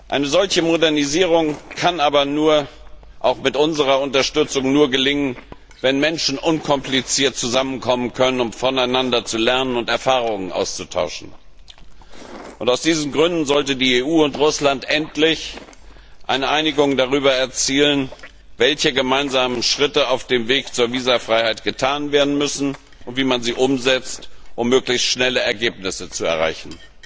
Eine solche Modernisierung kann aber auch mit unserer Unterstützung nur gelingen, wenn Menschen unkompliziert zusammenkommen können, um voneinander zu lernen und Erfahrungen auszutauschen. Aus diesen Gründen sollten die EU und Russland endlich eine Einigung darüber erzielen, welche gemeinsamen Schritte auf dem Weg zur Visafreiheit getan werden müssen und wie man sie umsetzt, um möglichst schnell Ergebnisse zu erreichen.